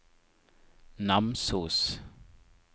Namsos